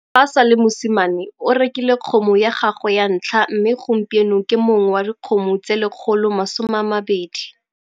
Fa a sa le mosimane o rekile kgomo ya gagwe ya ntlha mme gompieno ke mong wa dikgomo tse 120.